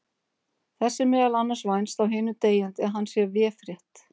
Þess er meðal annars vænst af hinum deyjandi að hann sé véfrétt.